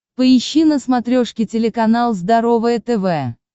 поищи на смотрешке телеканал здоровое тв